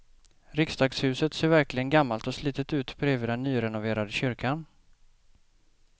Riksdagshuset ser verkligen gammalt och slitet ut bredvid den nyrenoverade kyrkan.